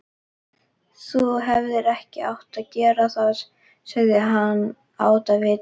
Þú hefðir ekki átt að gera það sagði hann ávítandi.